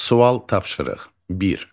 Sual tapşırıq bir.